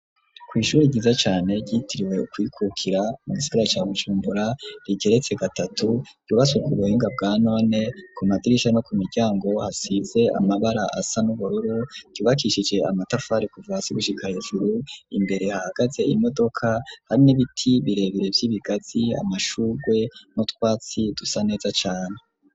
Kw'ishuri ryiza cane, ryitiriwe ukwikukira, mu gisagara ca Bujumbura, rigeretse gatatu, ryubatswe ku buhinga, bwa none; ku madirisha, no ku miryango, hasize amabara, asa n'ubururu; ryubakishije amatafari, kuva hasi, gushika hejuru; imbere, hahagaze imodoka, hari n'ibiti birebire, vy'ibigazi, amashurwe, n'utwatsi, dusa neza cane.